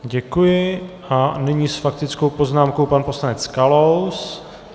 Děkuji a nyní s faktickou poznámkou pan poslanec Kalous.